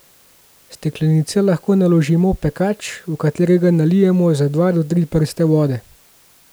Steklenice lahko naložimo v pekač, v katerega nalijemo za dva do tri prste vode.